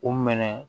U minɛ